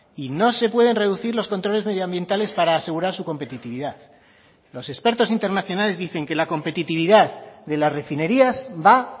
y no se pueden reducir los controles medioambientales para asegurar su competitividad los expertos internacionales dicen que la competitividad de las refinerías va